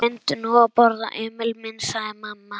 Reyndu nú að borða, Emil minn, sagði mamma.